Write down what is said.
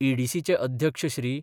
ईडीसीचे अध्यक्ष श्री.